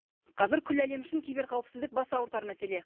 қазір күллі әлем үшін киберқауіпсіздік бас ауыртар мәселе